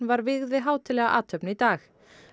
var vígð við hátíðlega athöfn í dag